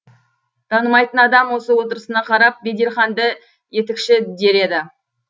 танымайтын адам осы отырысына қарап беделханды етікші дер еді